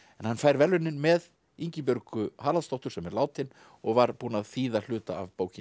en hann fær verðlaunin með Ingibjörgu Haraldsdóttur sem er látin og var búin að þýða hluta af bókinni